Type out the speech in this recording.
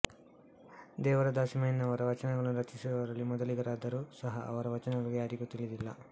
ದೇವರ ದಾಸಿಮಯ್ಯನವರ ವಚನಗಳನ್ನು ರಚಿಸಿರುವವರಲ್ಲಿ ಮೊದಲಿಗರಾದರೂ ಸಹ ಅವರ ವಚನಗಳು ಯಾರಿಗೂ ತಿಳಿದಿಲ್ಲ